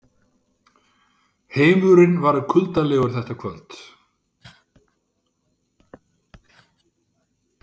Heimurinn var kuldalegur þetta kvöld.